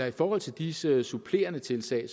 i forhold til disse supplerende tiltag